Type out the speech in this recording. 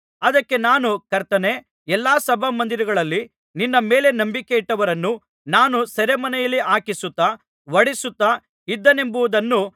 ಅದಕ್ಕೆ ನಾನು ಕರ್ತನೇ ಎಲ್ಲಾ ಸಭಾಮಂದಿರಗಳಲ್ಲಿ ನಿನ್ನ ಮೇಲೆ ನಂಬಿಕೆಯಿಟ್ಟವರನ್ನು ನಾನು ಸೆರೆಮನೆಯಲ್ಲಿ ಹಾಕಿಸುತ್ತಾ ಹೊಡಿಸುತ್ತಾ ಇದ್ದೆನೆಂಬುದನ್ನು